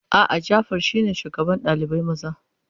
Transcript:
A'a, Jafar shine shugaban ɗalibai maza.